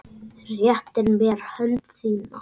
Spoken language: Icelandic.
Réttir mér hönd þína.